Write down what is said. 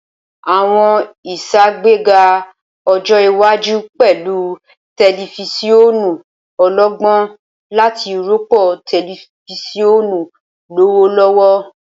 Awọn iṣagbega ọjọ iwaju pẹlu tẹlifisiọnu ọlọgbọn lati rọpo tẹlifisiọnu lọwọlọwọ.